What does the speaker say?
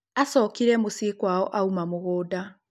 acokire muciĩ kwao auma mũgũnda.